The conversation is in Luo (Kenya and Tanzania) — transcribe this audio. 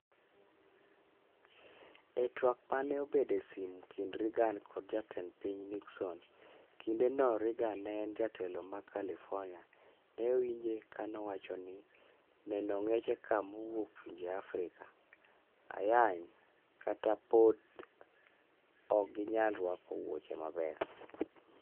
E twak mane obedo e simu kind Reagan kod jatend piny Nixon, kinde no Reagan ne en jatelo ma California ne owinje kanowacho ni "neno ong'echeka mowuok pinje Afrika (ayany) kata bod ok ginyal ruako wuoche maber